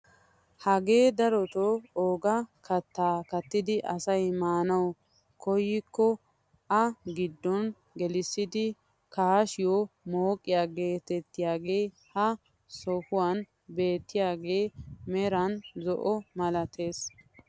Hagee darotoo ogaa kaattaa kattidi asay maanawu koyikko a giddo gelissi kaashshiyo mooqiyaa getettiyaagee ha sohuwaan beettiyaagee meran zo'o milatees.